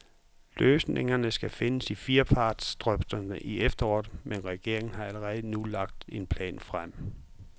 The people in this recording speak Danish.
Løsningerne skal findes i firepartsdrøftelser i efteråret, men regeringen har allerede nu lagt en plan frem.